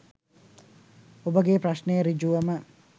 ඔබගේ ප්‍රශ්නය සෘජුවම